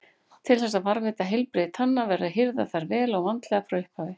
Til þess að varðveita heilbrigði tanna verður að hirða þær vel og vandlega frá upphafi.